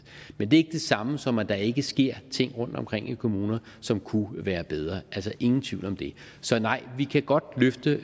men det er det samme som at der ikke sker ting rundtomkring i kommunerne som kunne være bedre ingen tvivl om det så nej vi kan godt løfte